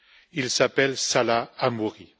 Il s'appelle Salah Hamouri.